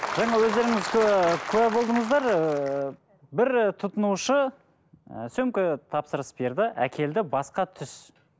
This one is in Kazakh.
жаңа өздеріңіз куә куә болдыңыздар ыыы бір тұтынушы ы сөмке тапсырыс берді әкелді басқа түс